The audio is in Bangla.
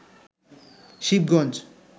শিবগঞ্জ